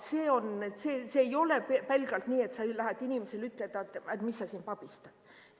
See ei ole pelgalt nii, et sa lähed inimesele ütlema, et mis sa siin pabistad.